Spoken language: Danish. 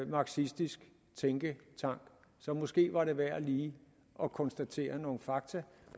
marxistisk tænketank så måske var det værd lige at konstatere nogle fakta